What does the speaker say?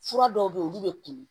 Fura dɔw bɛ yen olu bɛ kun